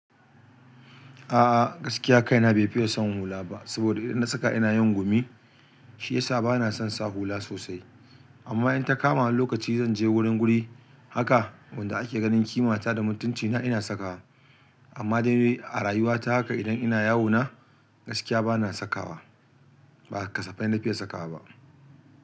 A'a, gaskiya kaina bai fiye son yin hula ba. Saboda idan na saka ina yin gumi, shi yasa ba na son sa hula sosai. Amma in ta kama wani lokaci zan je wurin guri haka wanda ake ganin kima ta da mutuncina ina saka. Amma dai a rayuwa ta haka idan ina yawo na gaskiya ba na sakawa, ba kasafai na fiye sakawa ba.